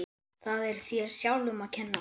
Það er þér sjálfum að kenna.